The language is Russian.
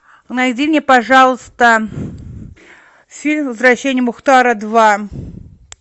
найди мне пожалуйста фильм возвращение мухтара два